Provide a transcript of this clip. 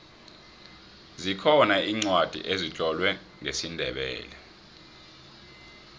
zikhona iincwadi ezitlolwe ngesindebele